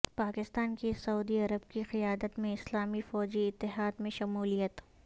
پاکستان کی سعودی عرب کی قیادت میں اسلامی فوجی اتحاد میں شمولیت